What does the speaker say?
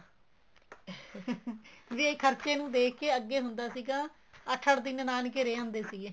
ਵੀ ਇਹ ਖਰਚੇ ਨੂੰ ਦੇਖ ਕੇ ਅੱਗੇ ਹੁੰਦਾ ਸੀਗਾ ਅੱਠ ਅੱਠ ਦਿਨ ਨਾਨਕੇ ਰਿਹ ਆਉਂਦੇ ਸੀਗੇ